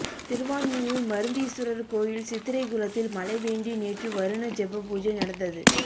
திருவான்மியூர் மருந்தீஸ்வரர் கோயில் சித்திரைகுளத்தில் மழை வேண்டி நேற்று வருண ஜெப பூஜை நடந்தது